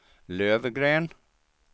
Löfgren